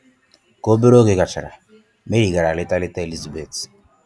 Ka obere oge gachara, Mary gara leta leta Elizabeth.